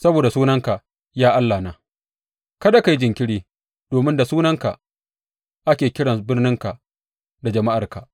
Saboda sunanka, ya Allahna, kada ka yi jinkiri, domin da sunanka ake kiran birninka da jama’arka.